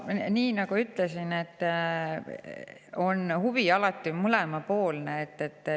Nii nagu ütlesin, huvi on alati mõlemapoolne.